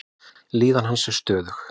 Líðan hans er stöðug.